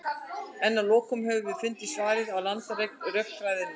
en að lokum höfum við fundið svarið á landareign rökfræðinnar